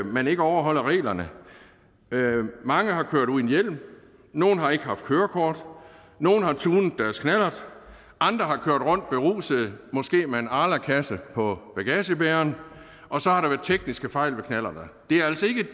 man ikke overholder reglerne mange har kørt uden hjelm nogle har ikke haft kørekort nogle har tunet deres knallert andre har kørt rundt beruset måske med en arlakasse på bagagebæreren og så har der været tekniske fejl